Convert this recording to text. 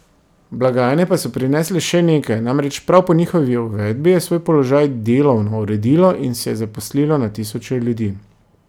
Blagajne pa so prinesle še nekaj, namreč prav po njihovi uvedbi je svoj položaj delovno uredilo in se zaposlilo na tisoče ljudi.